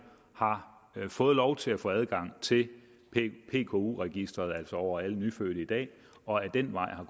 har fået lov til at få adgang til pku registeret over alle nyfødte i dag og ad den vej har